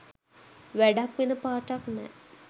වැඩක් වෙන පාටක් නෑ.